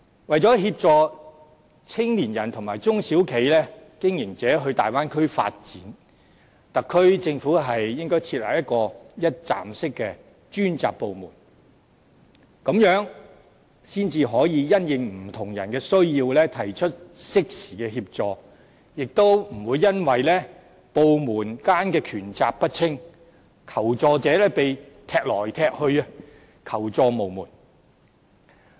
為了協助青年人和中小企經營者前往大灣區發展，特區政府應該設立一個一站式的專責部門，這樣才可以因應不同人士的需要提出適時的協助，亦不會因為部門間權責不清，令求助者被"踢來踢去"，求助無門。